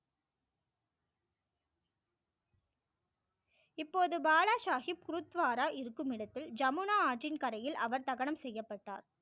இப்போது பாலா சாகிப் குருத்வாரா இருக்கும் இடத்தில் ஜமுனா ஆற்றின் கரையில் அவர் தகணம் செய்யப்பட்டார்